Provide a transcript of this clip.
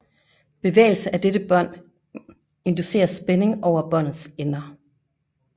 Bevægelse af dette bånd inducerer spænding over båndets ender